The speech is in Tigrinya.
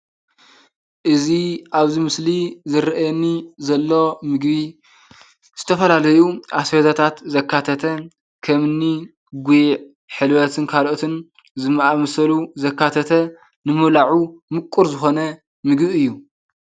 እዙይ ኣብዚ ምስሊ ዝርኣየኒ ዘሎ ምግቢ ዝተፈላለዩ ኣስቤዛታት ዘካተተ ከምኒ ጉዕ ሕልበትን ካልኦትን ዝኣምሰሉ ዘካተተ ንምብልዑ ምቁር ዝኮነ ምግቢ እዩ።